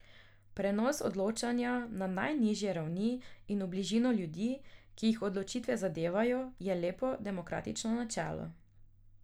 Prenos odločanja na najnižje ravni in v bližino ljudi, ki jih odločitve zadevajo, je lepo demokratično načelo.